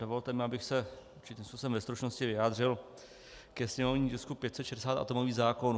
Dovolte mi, abych se určitým způsobem ve stručnosti vyjádřil ke sněmovnímu tisku 560, atomový zákon.